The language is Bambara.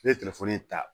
N ye telefɔni ta